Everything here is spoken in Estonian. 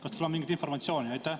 Kas teil on mingit informatsiooni?